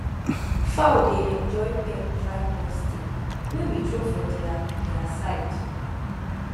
fowl dey enjoy peck dry corn stick wey we throw for their their side